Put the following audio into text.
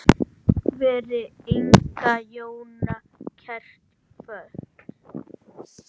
Veri Inga Jóna kært kvödd.